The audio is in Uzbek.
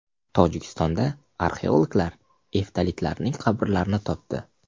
Tojikistonda arxeologlar eftalitlarning qabrlarini topdi.